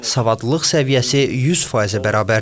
Savadlılıq səviyyəsi 100%-ə bərabərdir.